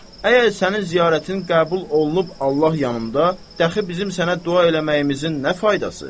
Əgər sənin ziyarətin qəbul olunub Allah yanında, dəxi bizim sənə dua eləməyimizin nə faydası?